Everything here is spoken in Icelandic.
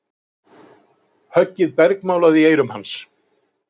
Höggið bergmálaði í eyrum hans.